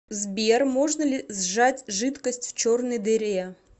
сбер можно ли сжать жидкость в черной дыре